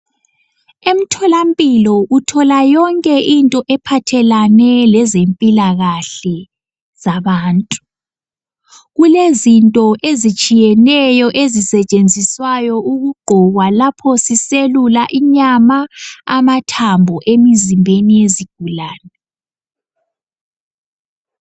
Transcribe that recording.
Emtholampilo uthola yonke into ephathelane lezempilakahle zabantu. Kulezinto ezitshiyeneyo ezisetshenziswayo ukugqokwa lapho siselula inyama , amathambo emizimbeni yezigulane.